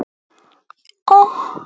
Sif og Dóra.